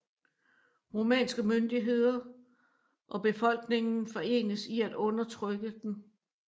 Rumænske myndighederne og befolkningen forenes i at undertrykke dem